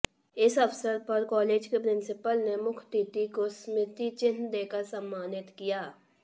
इस अवसर पर कालेज की प्रिंसीपल ने मुख्यातिथि को स्मृति चिन्ह देकर सम्मानित किया